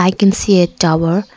I can see a tower.